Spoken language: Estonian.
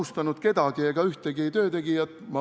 Ma ei ole ühtegi töötegijat halvustanud.